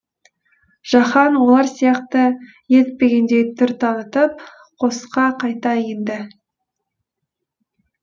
жаһан олар сияқты елітпегендей түр танытып қосқа қайта енді